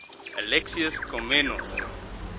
alexius komnenos